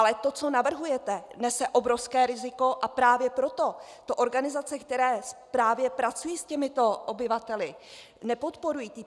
Ale to, co navrhujete, nese obrovské riziko, a právě proto to organizace, které právě pracují s těmito obyvateli, nepodporují.